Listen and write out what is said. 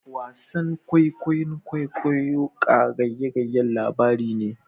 Wasan kwaikwayon kwaikwayo qagyagyan labari ne